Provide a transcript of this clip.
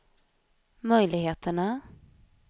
möjligheterna